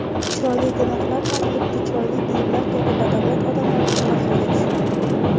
Chiroyli gunohlar ham xuddi chiroyli buyumlar kabi badavlat odamlarning mahriga tushgan.